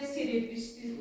Bir də sir etmisiz?